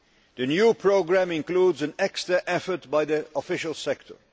The new programme includes an extra effort by the official sector.